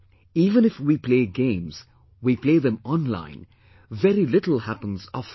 Even if we play games, we play them online; very little happens offline